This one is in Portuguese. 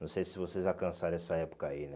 Não sei se vocês alcançaram essa época aí, né?